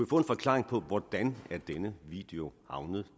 få en forklaring på hvordan denne video